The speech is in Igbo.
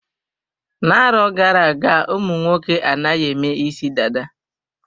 Na-arọ gara-aga ụmụnwoke anaghị eme isi dada.